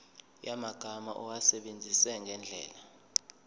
yamagama awasebenzise ngendlela